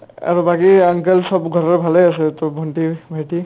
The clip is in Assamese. আ আৰু বাকী uncle চব ঘৰৰ চব ভালে আছে to ভন্টি-ভাইটি